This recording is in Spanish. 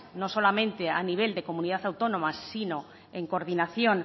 no solamente a nivel de comunidad autónoma sino en coordinación